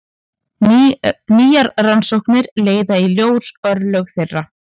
Nýjar rannsóknir leiða í ljós örlög þeirra.